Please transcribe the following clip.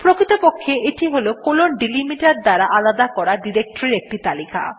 প্রকৃতপক্ষে এইটি160 colon delimiter দ্বারা আলাদা করা ডিরেক্টরীর একটি তালিকা